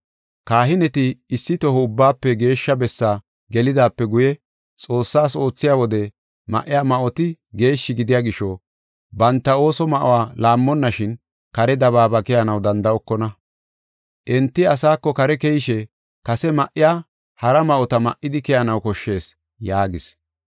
Kahineti issi toho Ubbaafe Geeshsha Bessaa gelidaape guye, Xoossaas oothiya wode ma77iya ma7oti geeshshi gidiya gisho, banta ooso ma7uwa laammonnashin kare dabaaba keyanaw danda7okona. Enti asaako kare keyishe kase ma7iya hara ma7ota ma7idi keyanaw koshshees” yaagis.